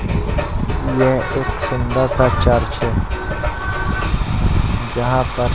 ये एक सुंदर सा चर्च है जहां पर--